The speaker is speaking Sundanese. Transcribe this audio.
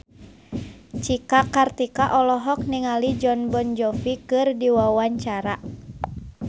Cika Kartika olohok ningali Jon Bon Jovi keur diwawancara